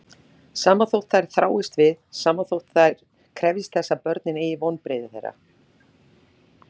Sama þótt þær þráist við, sama þótt þær krefjist þess að börnin eygi vonbrigði þeirra.